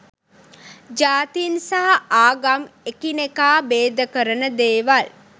ජාතින් සහ ආගම් එකිනෙකා බේදකරන දේවල්.